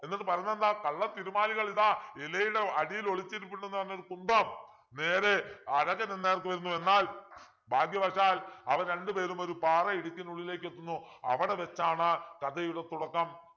എന്നിട്ട് പറഞ്ഞതെന്താ കള്ളതിരുമാലികൾ ഇതാ ഇലയുടെ അടിയിൽ ഒളിച്ചിരിപ്പുണ്ട്ന്നു പറഞ്ഞൊരു കുന്തം നേരെ അഴകനു നേർക്ക് വരുന്നു എന്നാൽ ഭാഗ്യവശാൽ അവർ രണ്ടുപേരുമൊരു പാറയിടുക്കിനുള്ളിലേക്കെത്തുന്നു അവിടെ വച്ചാണ് കഥയുടെ തുടക്കം